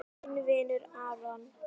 Þinn vinur Aron.